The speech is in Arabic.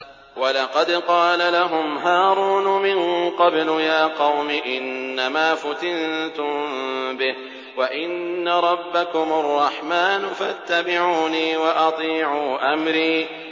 وَلَقَدْ قَالَ لَهُمْ هَارُونُ مِن قَبْلُ يَا قَوْمِ إِنَّمَا فُتِنتُم بِهِ ۖ وَإِنَّ رَبَّكُمُ الرَّحْمَٰنُ فَاتَّبِعُونِي وَأَطِيعُوا أَمْرِي